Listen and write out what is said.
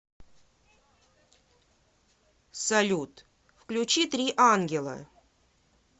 салют включи три ангела